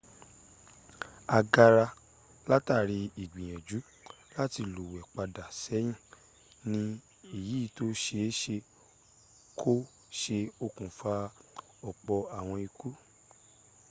agara látàrí ìgbìyànjú láti lúwẹ̀ pada ṣẹ́yìn ní ẹ̀yí tó ṣe é́ ṣe kó se okùnfà ọ̀pọ̀ àwọn ikú